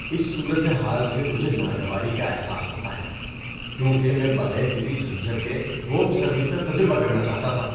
اس صورت حال سے مجھے ناگواری کا احساس ہوتا ہے کیونکہ میں بغیر کسی جھنجھٹ کے ہوم سروس کا تجربہ کرنا چاہتا تھا۔